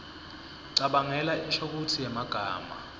cabangela inshokutsi yemagama